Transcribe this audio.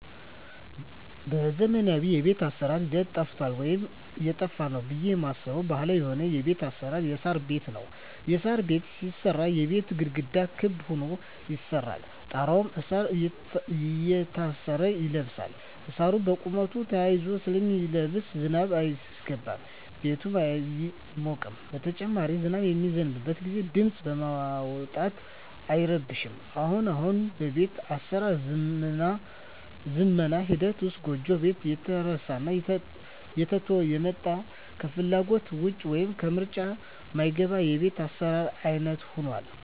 በዘመናዊ የቤት አሰራር ሂደት ጠፍቷል ወይም እየጠፋ ነው ብየ ማስበው ባህላዊ የሆነው የቤት አሰራር የሳር ቤት ነው። የሳር ቤት ሲሰራ የቤቱ ግድግዳ ክብ ሁኖ ይሰራና ጣራው እሳር እየታሰረ ይለብሳል እሳሩ በቁመቱ ተያይዞ ስለሚለብስ ዝናብ አያስገባም ቤቱም አይሞቅም በተጨማሪም ዝናብ በሚዘንብበት ግዜ ድምጽ በማውጣት አይረብሽም። አሁን አሁን ግን በቤት አሰራር ዝመና ሂደት ውስጥ ጎጆ ቤት እየተረሳና እየተተወ የመጣ ከፍላጎት ውጭ ወይም ከምርጫ ማይገባ የቤት አሰራር አይነት ሁኗል።